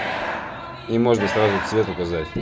и можно сразу цвет указать